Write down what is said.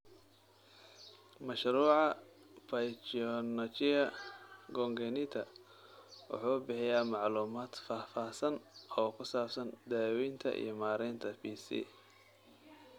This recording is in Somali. Mashruuca Pachyonychia Congenita wuxuu bixiyaa macluumaad faahfaahsan oo ku saabsan daaweynta iyo maaraynta PC.